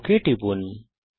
OK টিপুন